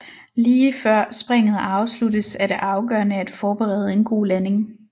Lige før springet afsluttes er det afgørende at forberede en god landing